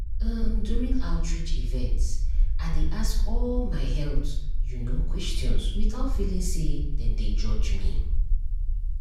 um during outreach events i dey ask all my health you know questions without feeling say dem dey judge me.